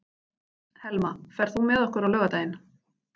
Helma, ferð þú með okkur á laugardaginn?